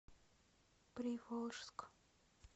приволжск